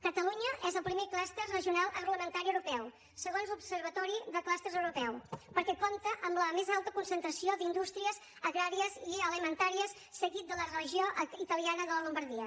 catalunya és el primer cluster regional agroalimentari europeu segons l’observatori de clústers europeu perquè compta amb la més alta concentració d’indústries agràries i alimentàries seguit de la regió italiana de la llombardia